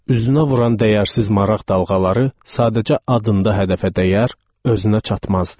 Üzünə vuran dəyərsiz maraq dalğaları sadəcə adında hədəfə dəyər, özünə çatmazdı.